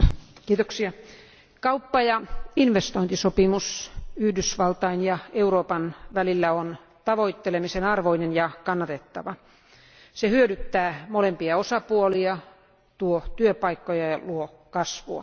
Arvoisa puhemies, kauppa ja investointisopimus Yhdysvaltain ja Euroopan välillä on tavoittelemisen arvoinen ja kannatettava. Se hyödyttää molempia osapuolia, tuo työpaikkoja ja luo kasvua.